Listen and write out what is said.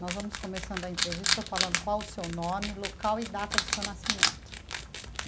Nós vamos começando a entrevista falando qual o seu nome, local e data do seu nascimento.